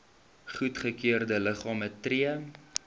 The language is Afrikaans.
goedgekeurde liggame tree